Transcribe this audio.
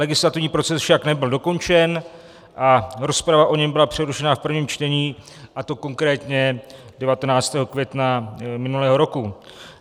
Legislativní proces však nebyl dokončen a rozprava o něm byla přerušena v prvním čtení, a to konkrétně 19. května minulého roku.